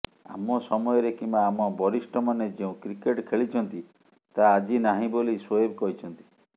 ଆମ ସମୟରେ କିମ୍ବା ଆମ ବରିଷ୍ଠମାନେ ଯେଉଁ କ୍ରିକେଟ୍ ଖେଳିଛନ୍ତି ତାହା ଆଜି ନାହିଁ ବୋଲି ଶୋଏବ କହିଛନ୍ତି